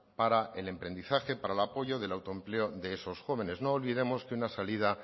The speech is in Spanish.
para el emprendizaje para el apoyo del autoempleo de esos jóvenes no olvidemos que una salida